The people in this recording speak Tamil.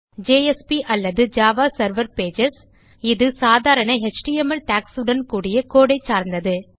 JSP அல்லது ஜாவா செர்வர் Pages இது சாதாரண எச்டிஎம்எல் டாக்ஸ் உடன் கூடிய கோடு ஐ சார்ந்தது